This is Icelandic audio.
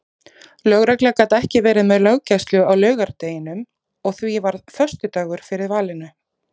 Lögregla gat ekki verið með löggæslu á laugardeginum og því varð föstudagur fyrir valinu.